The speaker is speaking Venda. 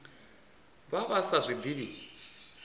vha vha sa zwi ḓivhi